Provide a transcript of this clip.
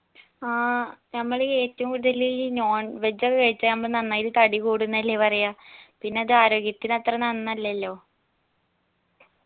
ആ നമ്മളീ ഏറ്റവും കൂടുതലീ non veg ഒ കഴിച്ചാ നമ്മ നന്നായിട്ട് തടി കൂടുന്നല്ലേ പറയാ പിന്നെ അത് ആരോഗ്യത്തിന് അത്രേ നന്നല്ലല്ലോ